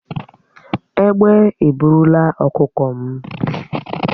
Ègbé eburulà ọkụkọ m